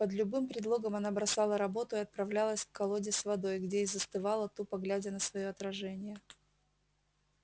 под любым предлогом она бросала работу и отправлялась к колоде с водой где и застывала тупо глядя на своё отражение